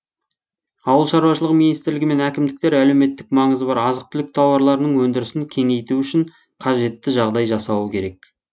ауыл шаруашылығы министрлігі мен әкімдіктер әлеуметтік маңызы бар азық түлік тауарларының өндірісін кеңейту үшін қажетті жағдай жасауы керек